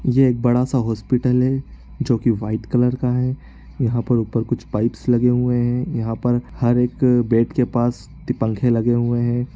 ये एक बड़ा-सा हॉस्पिटल है जोकि वाइट कलर का है। यहां पर ऊपर कुछ पाइप्स लगे हुए है। यहां पर हर एक बेड के पास पंखे लगे हुए है।